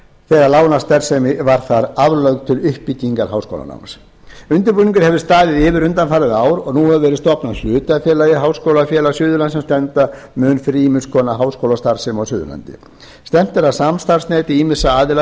þegar lánastarfsemi var þar aflögð til uppbyggingar háskólanáms undirbúningur hefur staðið yfir undanfarið ár og nú hefur verið stofnað hlutafélagið háskólafélag suðurlands sem standa mun fyrir ýmiss konar háskólastarfsemi á suðurlandi stefnt er að samstarfsneti ýmissa aðila